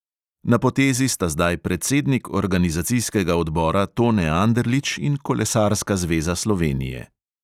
Na potezi sta zdaj predsednik organizacijskega odbora tone anderlič in kolesarska zveza slovenije.